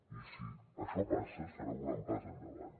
i si això passa serà un gran pas endavant